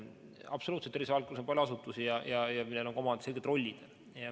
Absoluutselt: tervisevaldkonnas on palju asutusi ja neil on omad selged rollid.